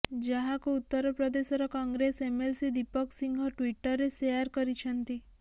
ଯାହାକୁ ଉତ୍ତର ପ୍ରଦେଶର କଂଗ୍ରେସ ଏମଏଲସି ଦୀପକ ସିଂହ ଟ୍ୱିଟରରେ ସେୟାର କରିଛନ୍ତି